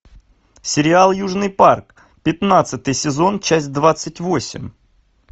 сериал южный парк пятнадцатый сезон часть двадцать восемь